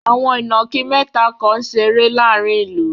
Àwọn ìnàkí mẹ́ta kan ń ṣeré láàárin ìlú.